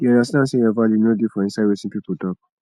dey understand sey your value no dey for inside wetin pipo talk